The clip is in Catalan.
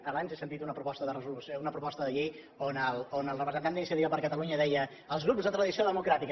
abans he sentit una proposta de llei on el representant d’iniciativa per catalunya deia els grups de tradició democràtica